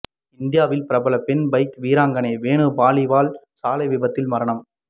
இந்தியாவின் பிரபல பெண் பைக் வீராங்கனை வேணு பலிவால் சாலை விபத்தில் மரணம்